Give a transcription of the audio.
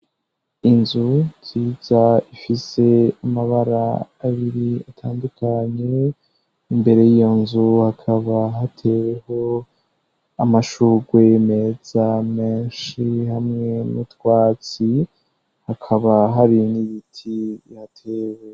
Inzu nziza ifise amabara abiri atandukanye. Imbere y'iyo nzu hakaba hateyeho amashugwe meza menshi hamwe n'utwatsi hakaba hari n'ibiti bihatewe.